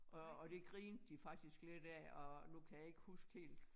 Og og det grinte de faktisk lidt af og nu kan jeg ikke huske helt